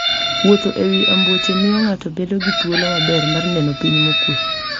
Wuotho e wi ambuoche miyo ng'ato bedo gi thuolo maber mar neno piny mokuwe.